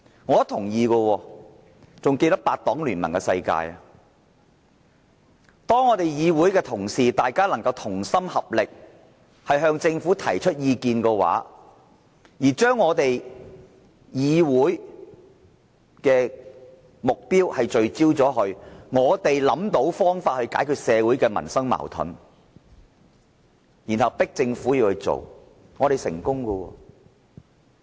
我同意的，還記得八黨聯盟的時候，議會同事同心合力向政府提出意見，將議會的目標聚焦，我們想到方法解決社會民生的矛盾，然後迫政府做，我們成功了。